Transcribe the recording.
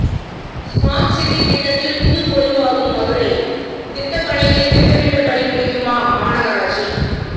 smart city திட்டத்தில் புதுப்பொலிவாகும் மதுரை திட்டப்பணிகளை திட்டமிட்டபடி முடிக்குமா மாநகராட்சி